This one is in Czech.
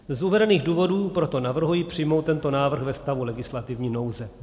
Z uvedených důvodů proto navrhuji přijmout tento návrh ve stavu legislativní nouze.